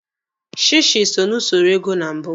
Shishi so na usoro ego na mbụ.